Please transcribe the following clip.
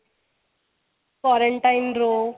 quarantine ਰਹੋ